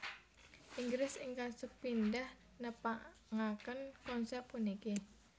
Inggris ingkang sepindhah nepangaken konsèp puniki